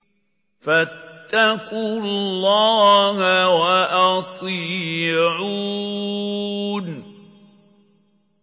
فَاتَّقُوا اللَّهَ وَأَطِيعُونِ